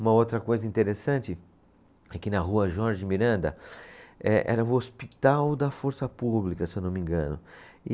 Uma outra coisa interessante é que na rua Jorge Miranda eh, era o hospital da Força Pública, se eu não me engano. E